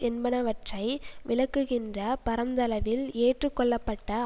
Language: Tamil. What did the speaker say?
என்பனவற்றை விளக்குகின்ற பரந்தளவில் ஏற்று கொள்ளப்பட்ட